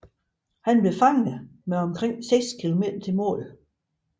Han blev fanget med omkring seks kilometer til mål